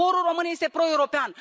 Poporul român este proeuropean.